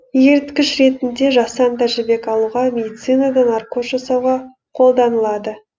еріткіш ретінде жасанды жібек алуға медицинада наркоз жасауға қолданылады